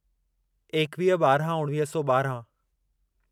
एकवीह ॿाराहं उणिवीह सौ ॿाराहं